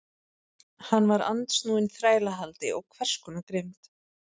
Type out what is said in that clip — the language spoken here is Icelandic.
Hann var andsnúinn þrælahaldi og hvers konar grimmd.